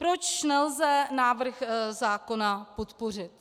Proč nelze návrh zákona podpořit?